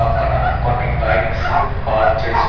పక్కన కొన్ని bikes park చేసు--